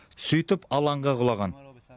сөйтіп алаңға құлаған